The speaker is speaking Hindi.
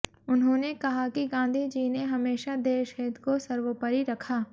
उन्होंने कहा कि गांधी जी ने हमेशा देश हित को सर्वोपरि रखा